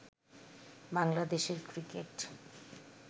বাংলাদেশের ক্রিকেট